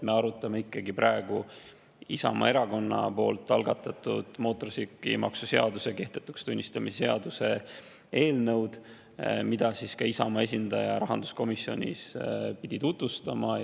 Me arutame ikkagi praegu Isamaa Erakonna algatatud mootorsõidukimaksu seaduse kehtetuks tunnistamise seaduse eelnõu, mida Isamaa esindaja rahanduskomisjonis pidi tutvustama.